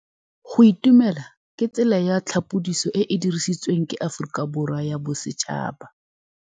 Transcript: Go itumela ke tsela ya tlhapolisô e e dirisitsweng ke Aforika Borwa ya Bosetšhaba.